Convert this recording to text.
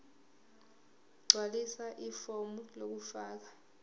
gqwalisa ifomu lokufaka